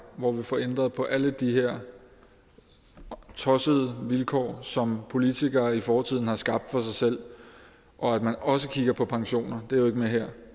hvor vi får ændret på alle de her tossede vilkår som politikere i fortiden har skabt for sig selv og at man også kigger på pensioner de med her